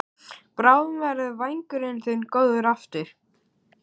Bráðum verður vængurinn þinn góður aftur.